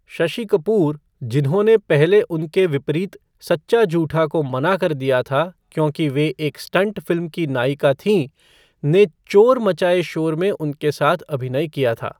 शशि कपूर, जिन्होंने पहले उनके विपरीत सच्चा झूठा को मना कर दिया था क्योंकि वे एक स्टंट फ़िल्म की नायिका थीं, उन्होंने चोर मचाए शोर में उनके साथ अभिनय किया था।